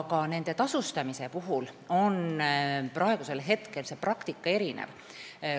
Ka nende tasustamise praktika on praegu erinev.